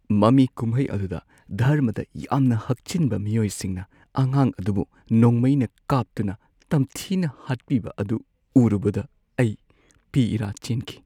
ꯃꯃꯤ-ꯀꯨꯝꯍꯩ ꯑꯗꯨꯗ ꯙꯔꯃꯗ ꯌꯥꯝꯅ ꯍꯛꯆꯤꯟꯕ ꯃꯤꯑꯣꯏꯁꯤꯡꯅ ꯑꯉꯥꯡ ꯑꯗꯨꯕꯨ ꯅꯣꯡꯃꯩꯅ ꯀꯥꯞꯇꯨꯅ ꯇꯝꯊꯤꯅ ꯍꯥꯠꯄꯤꯕ ꯑꯗꯨ ꯎꯔꯨꯕꯗ ꯑꯩ ꯄꯤ ꯏꯔꯥ ꯆꯦꯟꯈꯤ ꯫